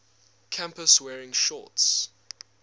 campus wearing shorts